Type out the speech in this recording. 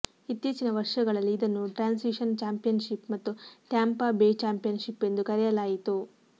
ಇತ್ತೀಚಿನ ವರ್ಷಗಳಲ್ಲಿ ಇದನ್ನು ಟ್ರಾನ್ಸಿಶನ್ ಚಾಂಪಿಯನ್ಷಿಪ್ ಮತ್ತು ಟ್ಯಾಂಪಾ ಬೇ ಚಾಂಪಿಯನ್ಷಿಪ್ ಎಂದು ಕರೆಯಲಾಯಿತು